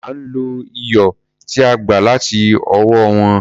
À ń lo iyọ̀ tí a gbà láti ọwọ́ wọn.